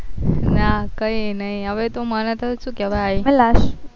ના કઈ નહી હવે તો મને શું કેવાય